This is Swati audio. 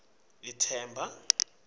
ethemba